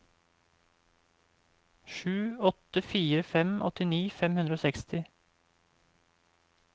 sju åtte fire fem åttini fem hundre og seksti